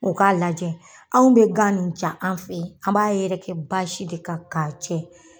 O k'a lajɛ anw be gan nin ja an' fɛ, an b'a yɛrɛkɛ basi de kan k'a cɛ